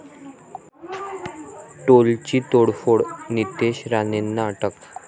टोलची तोडफोड, नितेश राणेंना अटक